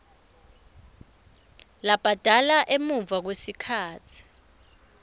labhadala emuva kwesikhatsi